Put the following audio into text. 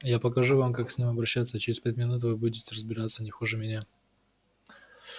я покажу вам как с ним обращаться и через пять минут вы будете разбираться не хуже меня